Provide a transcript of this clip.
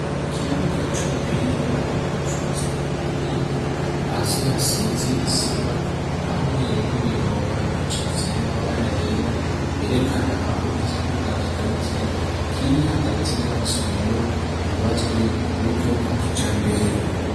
Ikibuga c'umupira w'amaboko cubatswe ku buhinga .Hasi hasize isima hamwe n'imirongo icafiye, n'amabara yera yerekana aho ikibuga kigarukira. Kiri hagati y'amasomero yubatswe ku buryo bwa kijambere.